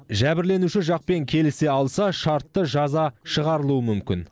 жәбірленуші жақпен келісе алса шартты жаза шығарылуы мүмкін